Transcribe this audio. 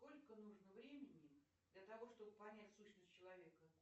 сколько нужно времени для того чтобы понять сущность человека